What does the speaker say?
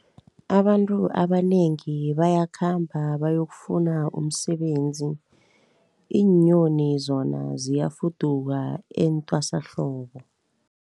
Abantu abanengi bayakhamba bayokufuna umsebenzi, iinyoni zona ziyafuduka etwasahlobo.